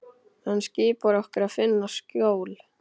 Hann skipar okkur að finna skjól.